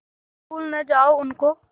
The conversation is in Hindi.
तुम भूल न जाओ उनको